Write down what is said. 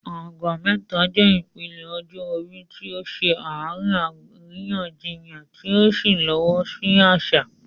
Agba Meta" jẹ́ ìpele ọjọ́ orí tí ó ṣe àárín àríyànjiyàn tí ó sì fọwọ́ sí àṣà.